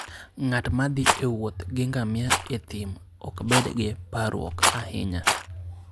Ng'at ma thi e wuoth gi ngamia e thim, ok bed gi parruok ahinya.